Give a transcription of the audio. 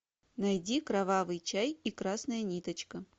найди кровавый чай и красная ниточка